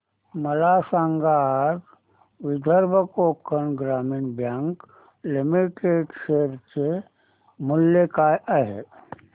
मला सांगा आज विदर्भ कोकण ग्रामीण बँक लिमिटेड च्या शेअर चे मूल्य काय आहे